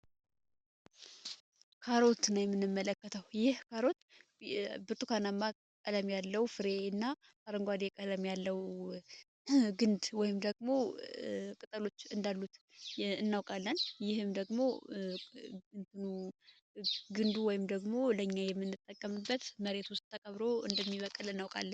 ካሮትን ነው የምንመለከተው ይህ ካሮት ብጡካናማ ቀለም ያለው ፍሬ እና አረንጓዴ ቀለም ያለው ግንድ ወይም ደግሞ ቅጠሎች እንዳሉት እናውቃለን። ይህም ደግሞ ግንዱ ወይም ደግሞ ለኛ የሚንጠቀምበት መሬት ውስጥ ተቀብሮ እንደሚበቀል እናውቃልን።